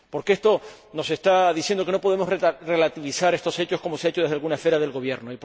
Esto nos está diciendo que no podemos relativizar estos hechos, como se ha hecho desde alguna esfera del Gobierno.